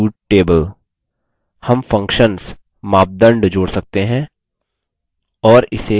हम functions मापदंड जोड़ सकते हैं और इसे जिस तरह भी हम चाहें क्रम में लगा सकते हैं